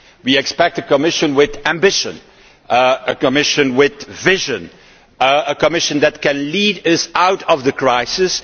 We expect a Commission with ambition, a Commission with vision, a Commission that can lead us out of the crisis.